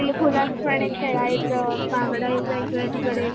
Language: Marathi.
दिलखुलास पणे खेळायचं बागडायचं इकडे तिकडे.